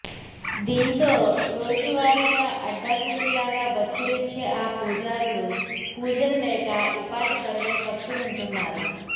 దీంతో రోజువారీగా అడ్డా కూలీ లాగా బతుకులీడ్చే ఆ పూజారులు పూజలు లేక ఉపాధి కరువై పస్తులుంటున్నారు